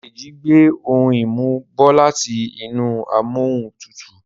Deji gbé òún imu bó láti inú Amóhuntutù